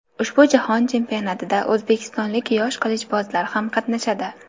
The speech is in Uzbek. Ushbu jahon chempionatida o‘zbekistonlik yosh qilichbozlar ham qatnashadi.